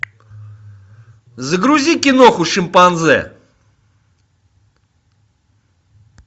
загрузи киноху шимпанзе